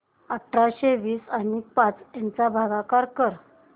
अठराशे वीस आणि पाच यांचा भागाकार कर